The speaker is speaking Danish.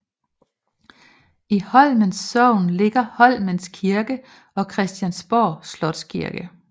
I Holmens Sogn ligger Holmens Kirke og Christiansborg Slotskirke